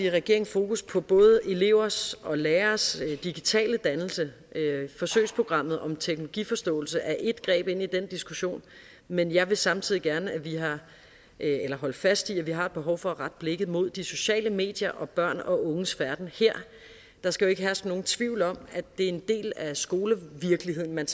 regeringen fokus på både elevers og lærers digitale dannelse forsøgsprogrammet om teknologiforståelse er ét greb ind i den diskussion men jeg vil samtidig gerne holde fast i at vi har et behov for at rette blikket mod de sociale medier og børn og unges færden her der skal jo ikke herske nogen tvivl om at det er en del af skolevirkeligheden man